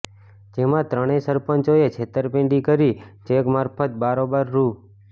જેમાં ત્રણેય સરપંચોએ છેતરપિંડી કરી ચેક મારફત બારોબાર રૂ